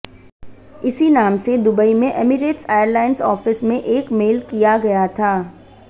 इसी नाम से दुबई में ऐमिरेट्स एयरलाइंस ऑफिस में एक मेल किया गया था